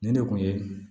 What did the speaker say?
Nin de kun ye